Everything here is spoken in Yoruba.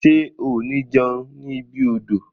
Ṣe o ni jẹun ni ibi odò?